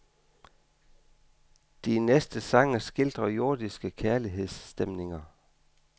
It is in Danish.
De næste sange skildrer jordiske kærlighedsstemninger.